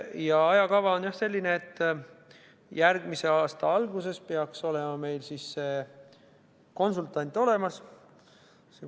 Ja ajakava on selline, et järgmise aasta alguses peaks konsultant olemas olema.